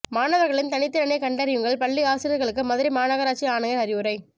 மாணவர்களின் தனித்திறனை கண்டறியுங்கள் பள்ளி ஆசிரியர்களுக்கு மதுரை மாநகராட்சி ஆணையர் அறிவுரை